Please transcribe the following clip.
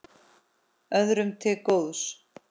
Öðrum til góðs.